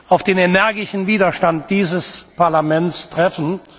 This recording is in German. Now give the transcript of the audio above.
auf den energischen Widerstand dieses Parlaments treffen.